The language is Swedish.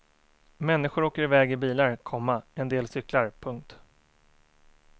Människor åker iväg i bilar, komma en del cyklar. punkt